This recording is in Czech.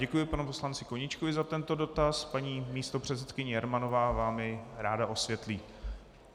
Děkuji panu poslanci Koníčkovi za tento dotaz, paní místopředsedkyně Jermanová vám jej ráda osvětlí.